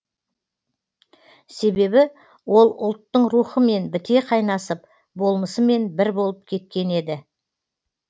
себебі ол ұлттың рухымен біте қайнасып болмысымен бір болып кеткен еді